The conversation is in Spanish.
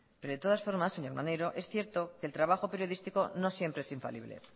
pero de todas formas señor maneiro es cierto que el trabajo periodístico no siempre es infalible